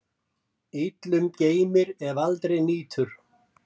Illum geymir, ef aldrei nýtur.